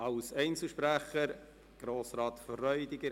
Als Einzelsprecher spricht Grossrat Freudiger.